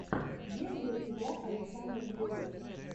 есть ли у тебя александр белов